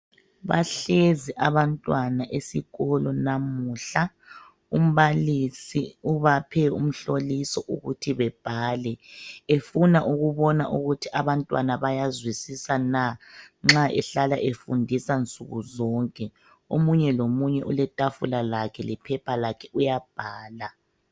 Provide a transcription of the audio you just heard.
Bahlezi abantwana esikolo namuhla , umbalisi ubaphe umhloliso ukuthi bebhale, efuna ukubona ukuthi abantwana bayazwisisa na nxa ehlala efundisa nsuku zonke. Omunye lomunye uletafula lakhe lephepha lakhe uyabhala.